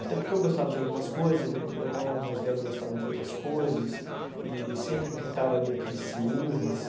Até porque eu gostava de algumas coisas, ele meu irmão mais velho gostava de outras coisas, e sempre pintava ali aqueles ciúmes,